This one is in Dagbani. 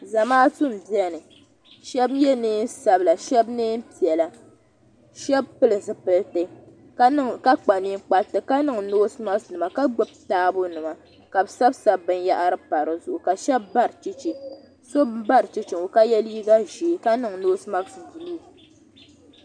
Za maatu n bɛni shɛbi yɛ nveen sabyila shɛbi neen zɛhi shɛ pili zipiliti ka kpa ninkpati ka niŋ noosimasi nima ka gbubi taabo nima ka sabi sabi binyɛhari ka so ba chɛchɛ ka ye liiga zee ka niŋ noosomasi buluu